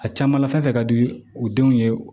A caman la fɛn fɛn ka di u denw ye